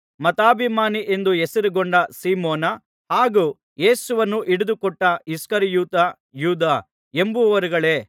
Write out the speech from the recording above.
ಮತಾಭಿಮಾನಿ ಎಂದು ಹೆಸರುಗೊಂಡ ಸೀಮೋನ ಹಾಗೂ ಯೇಸುವನ್ನು ಹಿಡಿದುಕೊಟ್ಟ ಇಸ್ಕರಿಯೋತ ಯೂದ ಎಂಬಿವರುಗಳೇ